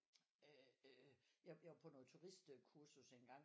Øh øh jeg var på noget turistkursus engang